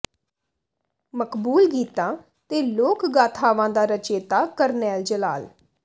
ਮਕਬੂਲ ਗੀਤਾਂ ਤੇ ਲੋਕ ਗਾਥਾਵਾਂ ਦਾ ਰਚੇਤਾ ਕਰਨੈਲ ਜਲਾਲ